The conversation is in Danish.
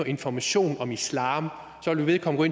information om islam vil vedkommende